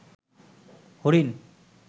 হরিণ